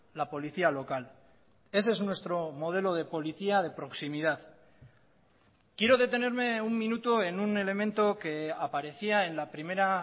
la policía local ese es nuestro modelo de policía de proximidad quiero detenerme un minuto en un elemento que aparecía en la primera